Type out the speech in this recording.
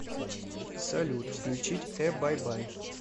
салют включить э бай бай